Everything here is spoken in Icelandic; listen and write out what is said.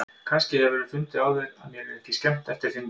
Kannski hefurðu fundið á þér að mér yrði ekki skemmt eftir þinn dag.